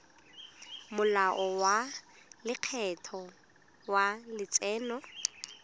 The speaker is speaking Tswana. molao wa lekgetho wa letseno